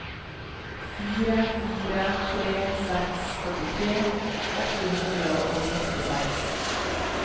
fire fire tre seks førtitre åtte hundre og sekstiseks